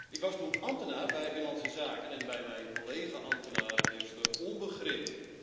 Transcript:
Ik was toen ambtenaar bij Binnenlandse Zaken en bij mijn collega ambtenaren heerste onbegrip.